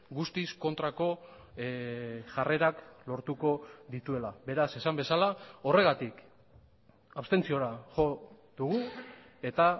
guztiz kontrako jarrerak lortuko dituela beraz esan bezala horregatik abstentziora jo dugu eta